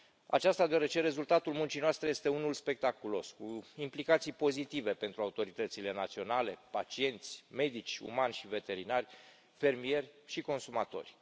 Aceasta, deoarece rezultatul muncii noastre este unul spectaculos, cu implicații pozitive pentru autoritățile naționale, pacienți, medici umani și veterinari, fermieri și consumatori.